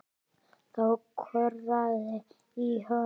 Þá korraði í honum.